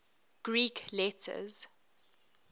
greek letters